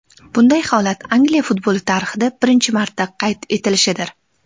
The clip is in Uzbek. Bunday holat Angliya futboli tarixida birinchi marta qayd etilishidir.